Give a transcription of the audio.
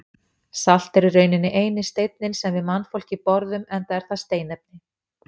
Salt er í rauninni eini steinninn sem við mannfólkið borðum enda er það steinefni.